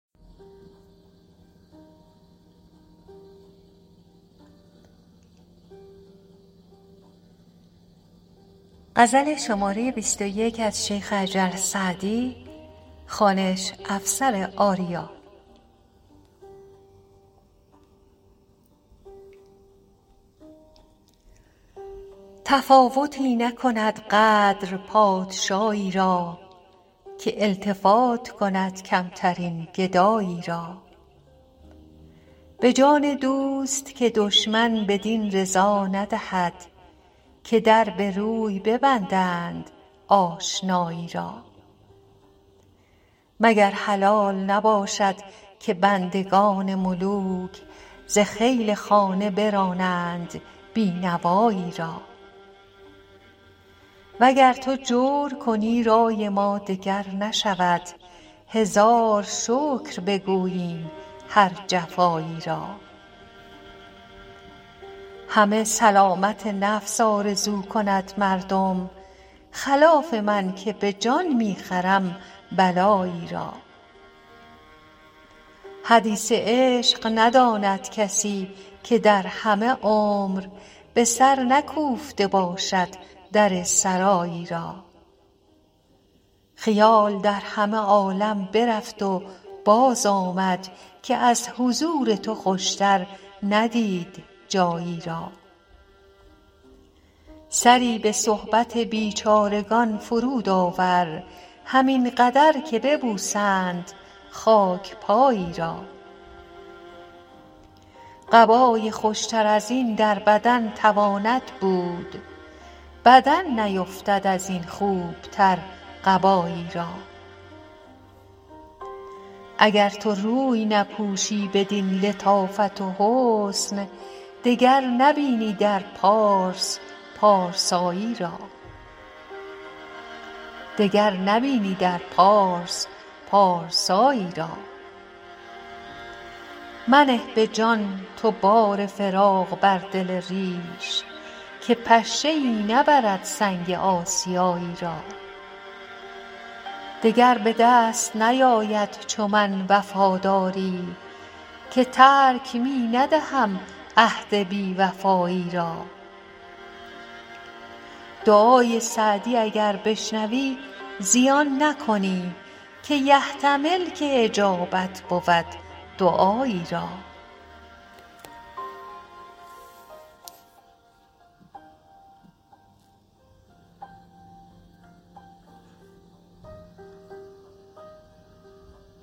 تفاوتی نکند قدر پادشایی را که التفات کند کمترین گدایی را به جان دوست که دشمن بدین رضا ندهد که در به روی ببندند آشنایی را مگر حلال نباشد که بندگان ملوک ز خیل خانه برانند بی نوایی را و گر تو جور کنی رای ما دگر نشود هزار شکر بگوییم هر جفایی را همه سلامت نفس آرزو کند مردم خلاف من که به جان می خرم بلایی را حدیث عشق نداند کسی که در همه عمر به سر نکوفته باشد در سرایی را خیال در همه عالم برفت و بازآمد که از حضور تو خوشتر ندید جایی را سری به صحبت بیچارگان فرود آور همین قدر که ببوسند خاک پایی را قبای خوشتر از این در بدن تواند بود بدن نیفتد از این خوبتر قبایی را اگر تو روی نپوشی بدین لطافت و حسن دگر نبینی در پارس پارسایی را منه به جان تو بار فراق بر دل ریش که پشه ای نبرد سنگ آسیایی را دگر به دست نیاید چو من وفاداری که ترک می ندهم عهد بی وفایی را دعای سعدی اگر بشنوی زیان نکنی که یحتمل که اجابت بود دعایی را